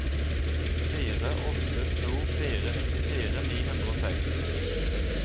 fire åtte to fire nittifire ni hundre og seks